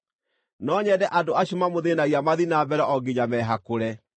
No nyende andũ acio mamũthĩĩnagia mathiĩ na mbere o nginya mehakũre.